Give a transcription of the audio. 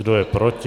Kdo je proti?